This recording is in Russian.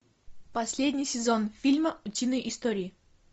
последний сезон фильма утиные истории